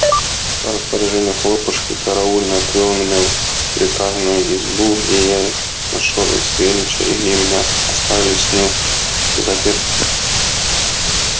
по распоряжению хлопушки караульный отвёл меня в приказную избу где я нашёл и савельича и где меня оставили с ним взаперти